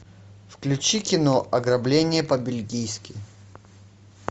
включи кино ограбление по бельгийски